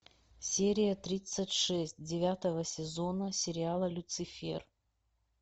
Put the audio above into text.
серия тридцать шесть девятого сезона сериала люцифер